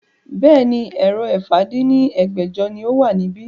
Bẹ́ẹ̀ni, èrò ẹ̀fà dín ní ẹgbẹ́jọ ni ó wà níbí